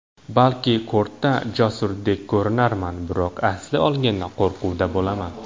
Balki kortda jasurdek ko‘rinarman, biroq aslini olganda qo‘rquvda bo‘laman.